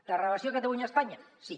de relació catalunya espanya sí